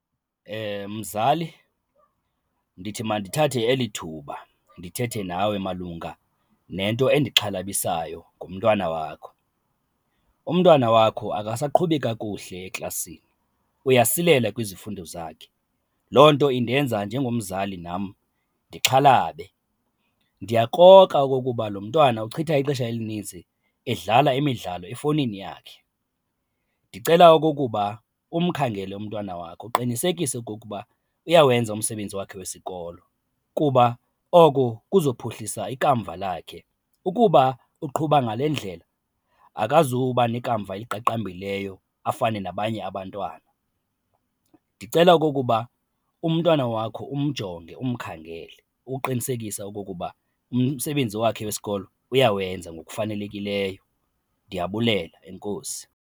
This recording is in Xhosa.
Mzali ndithi mandithathe eli thuba ndithethe nawe malunga nento endixhalabisayo ngomntwana wakho,. Umntwana wakho akasaqhubi kakuhle eklasini, uyasilela kwizifundo zakhe, loo nto indenza njengomzali nam ndixhalabe. Ndiyakrokra okokuba lo mntwana uchitha ixesha elinintsi edlala imidlalo efowunini yakhe. Ndicela okokuba umphangele umntwana wakho uqinisekise okokuba uyawenza umsebenzi wakhe wesikolo kuba oko kuzophuhlisa ikamva lakhe. Ukuba uqhuba ngale ndlela akazuba nekamva eliqaqambileyo afane nabanye abantwana. Ndicela okokuba umntwana wakho umjonge umkhangele, uqinisekise okokuba umsebenzi wakhe wesikolo uyawenza ngokufanelekileyo. Ndiyabulela, enkosi.